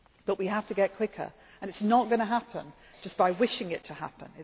to do it. But we have to get quicker and it is not going to happen just by wishing it